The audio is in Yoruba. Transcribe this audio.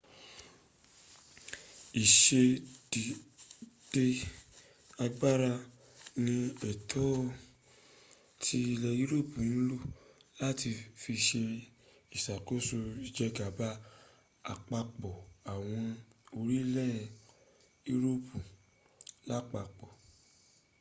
ìsedédé agbára ni ètò tí ilẹ̀ europu ń lò láti fi se ìsàkóso ìjẹgàba àpapọ̀ àwọn orílẹ̀ europu lápapọ